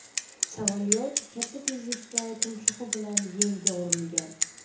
Samolyot katta tezlikda tumshug‘i bilan yerga urilgan.